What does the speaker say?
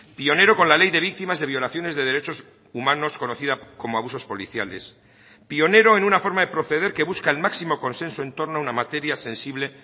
pionero con la ley de víctimas de violaciones de derechos humanos conocida como abusos policiales pionero en una forma de proceder que busca el máximo consenso en torno a una materia sensible